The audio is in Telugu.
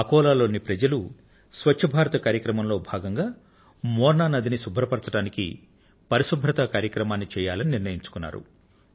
అకోలా లోని ప్రజలు స్వచ్ఛ భారత్ కార్యక్రమంలో భాగంగా మోర్నా నదిని శుభ్రపరచడానికి పరిశుభ్రత కార్యక్రమాన్ని చేయాలని నిర్ణయించుకున్నారు